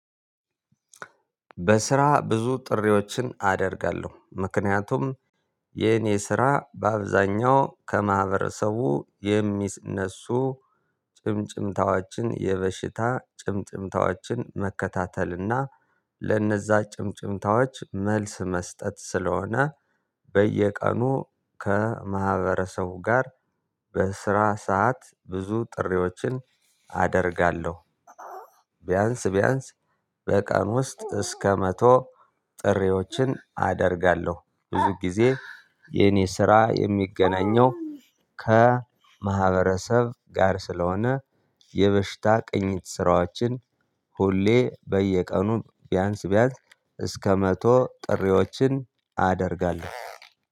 በስራ ብዙ ጥሪዎችን አደርጋለሁ ምክንያቱም የኔ ስራ በአብዛኛው ከማህበረሰቡ የሚነሱ ጭምጭምታዎችን የበሽታ ጭምጭምታዎችን መከታተልና ለነዛ ጭምጭምታዎች መልስ መስጠት ስለሆነ በየቀኑ ከማህበረሰቡ ጋር በስራ ሰዓት ብዙ ጥሪዎችን አደርጋለሁ። ቢያንስ ቢያንስ በቀን ውስጥ እስከ መቶ ጥሪዎችን አደርጋለሁ። ብዙ ጊዜ የኔ ስራ የሚገናኘው ከማህበረሰብ ጋር ስለሆነ የበሽታ ቅኝት ስራዎችን ሁሌ በየቀኑ ቢያንስ ቢያንስ እስከ መቶ ጥሪዎችን አደርጋለሁ።